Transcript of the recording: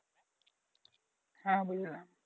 হ্যাঁ বুঝলাম।